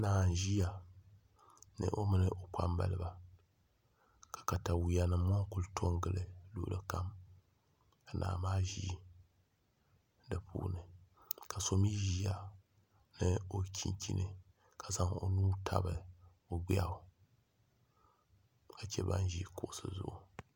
Naa n ʒiya o mini o kpambaliba ka katawiya nim ŋo ku to n gili luɣuli kam ka naa maa ʒi di puuni ka so mii ʒiya ni o chinchini ka zaŋ o nuu tabi o gbiɣu ka chɛ ban ʒi kuɣusi zuɣu